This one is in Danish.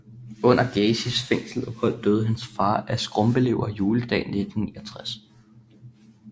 Under Gacys fængselsophold døde hans far af skrumpelever juledag 1969